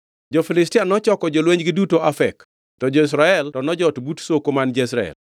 Jo-Filistia nochoko jolwenjgi duto Afek, to jo-Israel to nojot but soko man Jezreel.